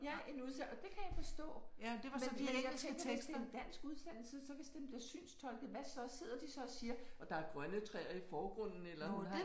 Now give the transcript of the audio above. Ja en udsend og det kan jeg forstå. Men men jeg tænker hvis det er en dansk udsendelse så hvis den bliver synstolket hvad så sidder de så og siger og der er grønne træer i forgrunden eller